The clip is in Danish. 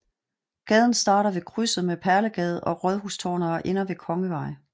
Gaden starter ved krydset med Perlegade og Rådhustorvet og ender ved Kongevej